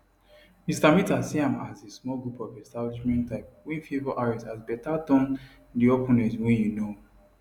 mr mitter see am as a small group of establishment type wey favour harris as beta dan di opponent wey you know